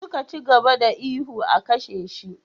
Suka ci gaba da ihu 'a kashe shi!'